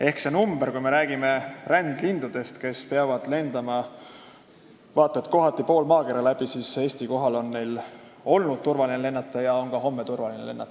Ehk kui me räägime rändlindudest, kes peavad lendama kohati vaat et pool maakera läbi, siis Eesti kohal on neil olnud seni turvaline lennata ja on ka homme turvaline lennata.